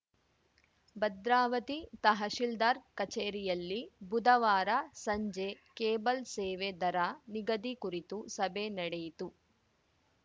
ಭದ್ರಾವತಿ ತಹಶಿಲ್ದಾರ್‌ ಕಚೇರಿಯಲ್ಲಿ ಬುಧವಾರ ಸಂಜೆ ಕೇಬಲ್‌ ಸೇವೆ ದರ ನಿಗದಿ ಕುರಿತು ಸಭೆ ನಡೆಯಿತು